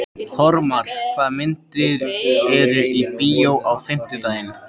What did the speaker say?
Þormar, hvaða myndir eru í bíó á fimmtudaginn?